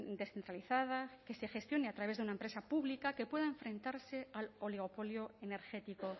descentralizada que se gestione a través de una empresa pública que pueda enfrentarse al oligopolio energético